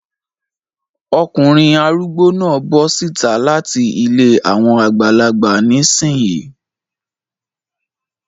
Ọkùnrin arúgbó náà bọ síta láti ilé àwọn àgbàlagbà ní ìsìn yín.